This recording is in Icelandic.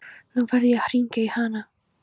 Nú verð ég að hringja í hana.